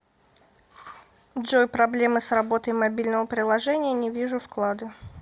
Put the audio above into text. джой проблемы с работой мобильного приложения не вижу вклады